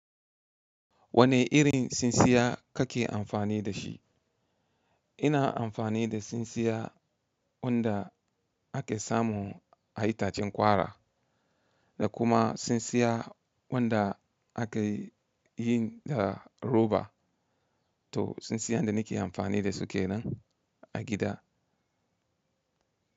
Wane irin tsintsiya kake amfani dashi? Ina amfani da tsintsiya wanda ake samu a itacen ƙwara da kuma tsintsiya wanda ake yi da roba. To tsintsiyan da nake amfani da su kenan a gida.